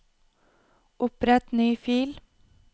Opprett ny fil